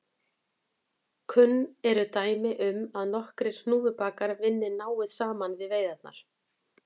Kunn eru dæmi um að nokkrir hnúfubakar vinni náið saman við veiðarnar.